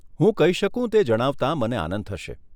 હું કહી શકું તે જણાવતાં મને આનંદ થશે.